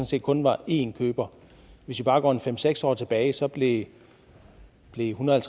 set kun var én køber hvis vi bare går en fem seks år tilbage blev en hundrede og